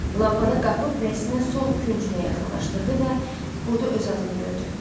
Lampanı qapıb rəsmin sol küncünə yaxınlaşdırdı və burda öz adını gördü.